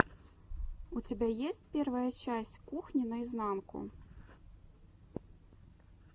у тебя есть первая часть кухни наизнанку